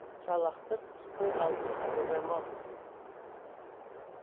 салақтық істің алдын ойламау